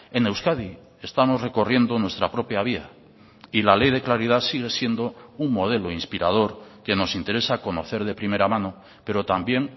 en euskadi estamos recorriendo nuestra propia vía y la ley de claridad sigue siendo un modelo inspirador que nos interesa conocer de primera mano pero también